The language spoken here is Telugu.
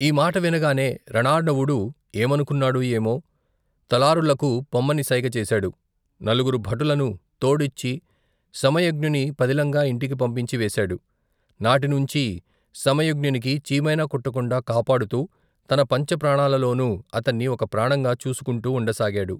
ఈమాట వినగానే రణార్ణవుడు ఏమనుకున్నాడో ఏమో తలారులకు పొమ్మని సైగ చేశాడు నలుగురు భటులను, తోడిచ్చి సమయజ్ఞుణి పదిలంగా ఇంటికి పంపించి వేశాడు నాటి నుంచీ సమయజ్ఞునికి చీమైనా కుట్టకుండా కాపాడుతూ తన పంచప్రాణాలలోనూ అతన్ని ఒక ప్రాణంగా చూచుకుంటూ ఉండ సాగాడు.